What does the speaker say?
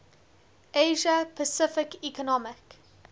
asia pacific economic